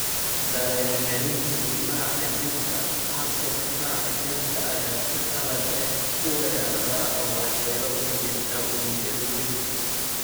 Dareen-celinta difaaca jirka, habka difaaca jirka ayaa si qalad ah u weerara oo waxyeelo u geysta unugyada jirka.